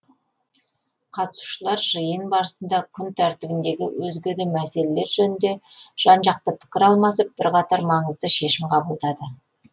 қатысушылар жиын барысында күн тәртібіндегі өзге де мәселелер жөнінде жан жақты пікір алмасып бірқатар маңызды шешім қабылдады